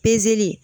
Pezeli